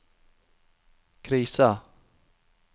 krisa